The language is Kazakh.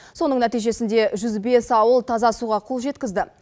соның нәтижесінде жүз бес ауыл таза суға қол жеткізді